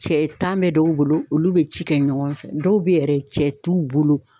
Cɛ tan be dɔw bolo olu be ci kɛ ɲɔgɔn fɛ dɔw be yen yɛrɛ cɛ t'u bolo